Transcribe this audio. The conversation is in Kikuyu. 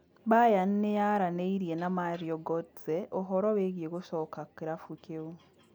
Bayern nĩyaranĩirie na Mario Gotze ũhoro wĩĩgiĩ gũcoka kĩrabu kĩu